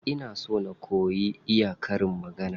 Ina so na koyi iya karin magana.